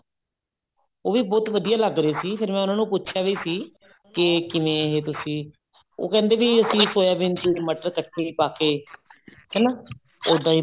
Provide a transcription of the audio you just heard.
ਉਹ ਵੀ ਬਹੁਤ ਵਧੀਆ ਲੱਗ ਰਿਹਾ ਸੀ ਫ਼ੇਰ ਮੈਂ ਉਹਨਾ ਨੂੰ ਪੁੱਛਿਆ ਵੀ ਸੀ ਕੇ ਕਿਵੇਂ ਇਹ ਤੁਸੀਂ ਉਹ ਕਹਿੰਦੇ ਵੀ ਅਸੀਂ ਸੋਇਆਬੀਨ ਚ ਮਟਰ ਤੜਕੇ ਚ ਪਾ ਕੇ ਹਨਾ ਉੱਦਾਂ ਈ